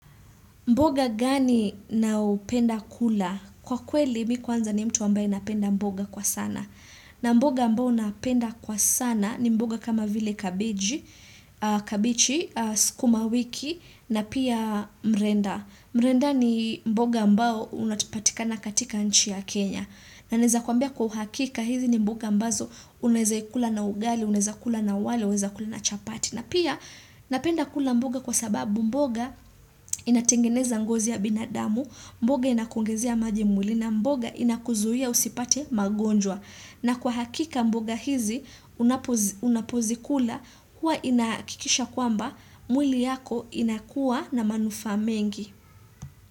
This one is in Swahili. Mboga gani nao penda kula? Kwa kweli mi kwanza ni mtu ambaye anapenda mboga kwa sana. Na mboga ambao napenda kwa sana ni mboga kama vile kabichi, sukuma wiki na pia mrenda. Mrenda ni mboga ambao unatipatikana katika nchi ya Kenya. Na neza kuambia kwa uhakika hizi ni mboga ambazo uneweza ikula na ugali, unweza kula na wale, unaweza kula na chapati. Na pia napenda kula mboga kwa sababu mboga inatengeneza ngozi ya binadamu, mboga inakuongezea maji mwli na mboga inakuzuia usipate magonjwa. Na kwa hakika mboga hizi unapozikula huwa inahakikisha kwamba mwili yako inakuwa na manufaa mengi.